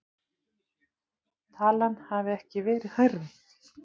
Talan hafi ekki verið hærri